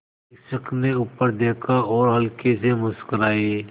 शिक्षक ने ऊपर देखा और हल्के से मुस्कराये